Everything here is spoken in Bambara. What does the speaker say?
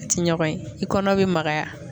Ti ɲɔgɔn ye i kɔnɔ be magaya